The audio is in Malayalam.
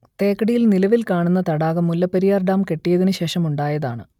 തേക്കടിയിൽ നിലവിൽ കാണുന്ന തടാകം മുല്ലപ്പെരിയാർ ഡാം കെട്ടിയതിന് ശേഷം ഉണ്ടായതാണ്